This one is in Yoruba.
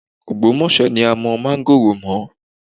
Ọ̀gbómọ̀ṣọ́ ni a mọ máńgórò mọ́